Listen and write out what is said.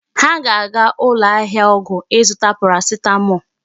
Ha ga-aga ụlọ ahịa ọgwụ ịzụta paracetamol.